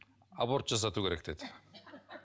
аборт жасату керек деді